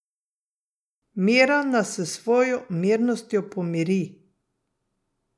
Miran nas s svojo mirnostjo pomiri.